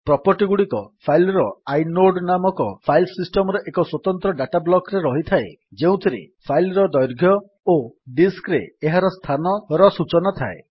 ପ୍ରପର୍ଟିଗୁଡିକ file ର inode ନାମକ file system ର ଏକ ସ୍ୱତନ୍ତ୍ର ଡାଟା ବ୍ଲକ୍ ରେ ରହିଥାଏ ଯେଉଁଥିରେ ଫାଇଲ୍ ର ଦୈର୍ଘ୍ୟ ଓ ଡିସ୍କ୍ ରେ ଏହାର ସ୍ଥାନର ସୂଚନା ଥାଏ